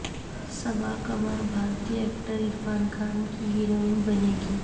صبا قمر بھارتی ایکٹر عرفان خان کی ہیروئن بنیں گی